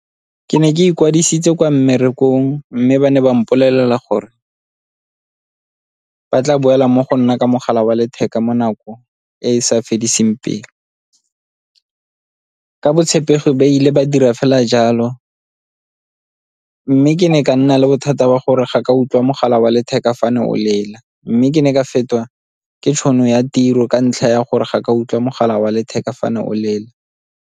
Ke ne ke ikwadisitse kwa mmerekong, mme ba ne ba mpolelela gore ba tla boela mo go nna ka mogala wa letheka mo nako e e sa fediseng pelo. Ka botshepegi ba ile ba dira fela jalo mme ke ne ka nna le bothata wa gore ga ke a utlwa mogala wa letheka fa ne o lela, mme ke ne ka fetiwa ke tšhono ya tiro ka ntlha ya gore ga ke a utlwa mogala wa letheka fa ne o lela.